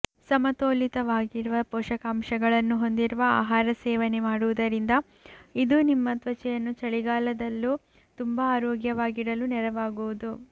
ಸಮತೋಲಿತವಾಗಿರುವ ಪೋಷಕಾಂಶಗಳನ್ನು ಹೊಂದಿರುವ ಆಹಾರ ಸೇವನೆ ಮಾಡುವುದರಿಂದ ಇದು ನಿಮ್ಮ ತ್ವಚೆಯನ್ನು ಚಳಿಗಾಲದಲ್ಲೂ ತುಂಬಾ ಆರೋಗ್ಯವಾಗಿ ಇಡಲು ನೆರವಾಗುವುದು